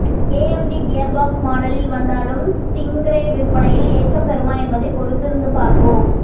AMD gearbox மாடலில் வந்தாலும் Stingray விற்பனையில் ஏற்றம் பெறுமா என்பதை பொறுத்திருந்து பார்ப்போம்